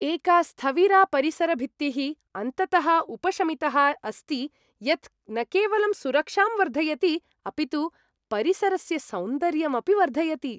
एका स्थविरा परिसरभित्तिः अन्ततः उपशमितः अस्ति यत् न केवलं सुरक्षां वर्धयति अपितु परिसरस्य सौन्दर्यम् अपि वर्धयति।